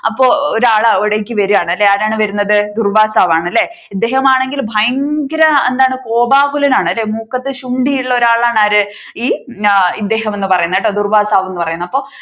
അപ്പൊ ഒരാൾ അവിടേക്ക് വരികയാണ് ആരാണ് വരുന്നത് ദുർവ്വാസാവ് ആണല്ലേ ഇദ്ദേഹമാണെങ്കിൽ ഭയങ്കര എന്താണ് കോപാകുലനാണ് മൂക്കത്തു ശുണ്ഠി ഉള്ള ഒരാളാണ് ആര് ഈ ഇദ്ദേഹം പറയുന്നത് കേട്ടോ ദുർവ്വാസാവ് എന്ന് പറയുന്നത്